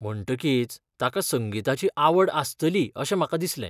म्हणटकीच, ताका संगीताची आवड आसतली अशें म्हाका दिसलें.